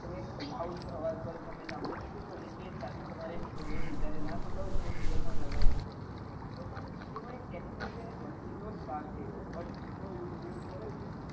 તમે loud અવાજ પર તમે સાંભળી શકો છો અને એ જ સાથે તમારે બીજા કોઈ ને નાં સંભળાવવું હોય તો તમે ear phone લાગી શકો છો તો એ પણ એ technology નો machine નો જ ભાગ છે તમે buds નો ઉપયોગ કર્યો છે